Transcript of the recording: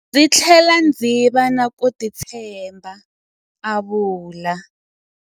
Ndzi tlhele ndzi va na ku titshemba, a vula.